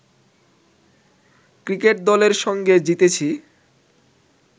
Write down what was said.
cricket দলের সঙ্গে জিতেছি